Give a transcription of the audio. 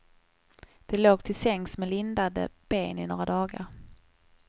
De låg till sängs med lindade ben i några dagar.